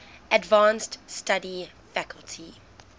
advanced study faculty